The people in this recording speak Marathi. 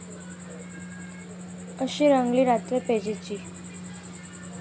अशी रंगली रात्र पैजेची